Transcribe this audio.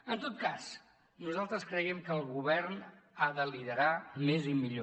en tot cas nosaltres creiem que el govern ha de liderar més i millor